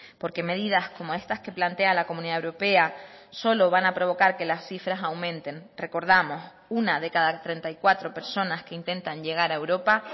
porque medidas como estas que plantea la comunidad europea solo van a provocar que las cifras aumenten recordamos una de cada treinta y cuatro personas que intentan llegar a europa